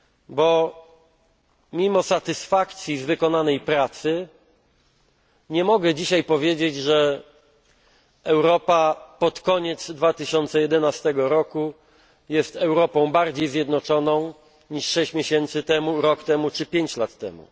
Bo mimo satysfakcji z wykonanej pracy nie mogę powiedzieć, że Europa pod koniec 2011 roku jest Europą bardziej zjednoczoną niż sześć miesięcy temu, rok temu czy pięć lat temu.